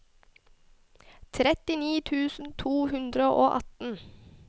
trettini tusen to hundre og atten